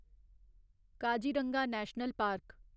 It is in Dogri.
Kaziranga national park